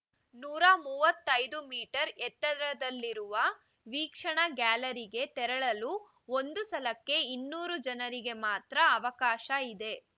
ನೂರ ಮೂವತ್ತೈದು ಮೀಟರ್‌ ಎತ್ತರದಲ್ಲಿರುವ ವೀಕ್ಷಣಾ ಗ್ಯಾಲರಿಗೆ ತೆರಳಲು ಒಂದು ಸಲಕ್ಕೆ ಇನ್ನೂರು ಜನರಿಗೆ ಮಾತ್ರ ಅವಕಾಶ ಇದೆ